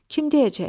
Kim deyəcək?